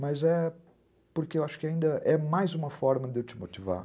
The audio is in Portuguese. Mas é porque eu acho que ainda é mais uma forma de eu te motivar.